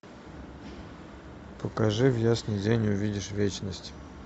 покажи в ясный день увидишь вечность